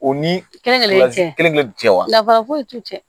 U ni kelenkelen kelen kelen wa dafara foyi t'u cɛ